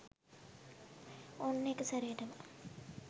ඔන්න එකසැරේටම